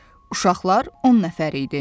Uşaqlar 10 nəfər idi.